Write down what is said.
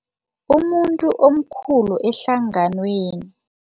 Umuntu omkhulu ehlanganweni.